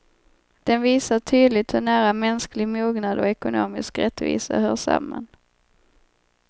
Den visar tydligt hur nära mänsklig mognad och ekonomisk rättvisa hör samman.